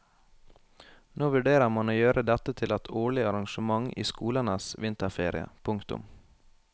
Nå vurderer man å gjøre dette til et årlig arrangement i skolenes vinterferie. punktum